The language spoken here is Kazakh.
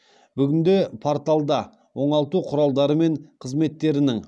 бүгінде порталда оңалту құралдары мен қызметтерінің